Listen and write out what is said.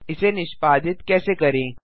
इसे निष्पादित कैसे करें